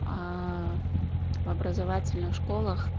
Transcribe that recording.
аа в образовательных школах